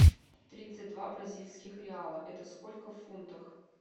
тридцать два бразильских реала это сколько в фунтах